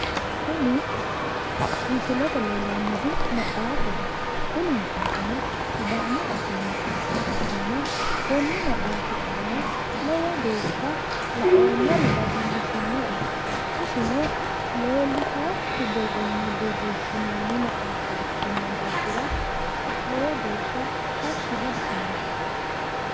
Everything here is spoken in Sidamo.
Kuni misilete leellannohu maxaafaho. Kuni maxaafino sidaamu afii maxaafa ikkanna konni maxaafi aana lowo geeshsha la"oommori lowo geeshsha dadillisinoe isino leellitaakki borronni borreessinoonni maxaafa ikkino daafira lowo geeshsha tashshi diassitinoe.